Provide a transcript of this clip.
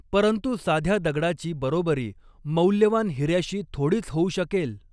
परंतु साध्या दगडाची बरोबरी मौल्यवान हिर्याशी थोडीच होऊ शकेल